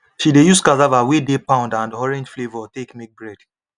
she dey use cassava wey de pound and orange flavour take make bread